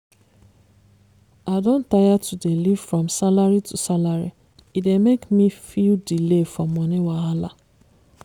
i don tire to dey live from salary to salary e dey make me feel delay for money wahala